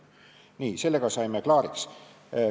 Nii, sellega saime klaariks.